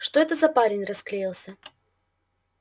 что это парень расклеился